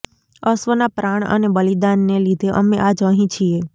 અશ્વના પ્રાણ અને બલીદાન ને લીધે અમે આજ અહિં છીએ